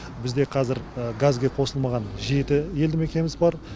бізде қазір газге қосылмаған жеті елді мекеніміз бар